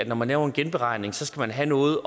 når man laver en genberegning skal have noget